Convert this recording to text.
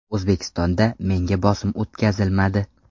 O‘zbekistonda menga bosim o‘tkazilmadi.